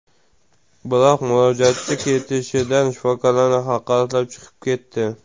Biroq murojaatchi ketishida shifokorlarni haqoratlab chiqib ketdi.